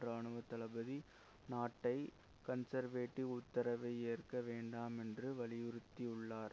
இராணுவ தளபதி நாட்டை கன்சர்வேடிவ் உத்தரவை ஏற்க வேண்டாம் என்று வலியுறுத்தியுள்ளார்